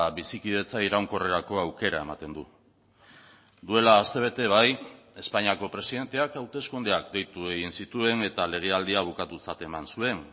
bizikidetza iraunkorrerako aukera ematen du duela astebete bai espainiako presidenteak hauteskundeak deitu egin zituen eta legealdia bukatutzat eman zuen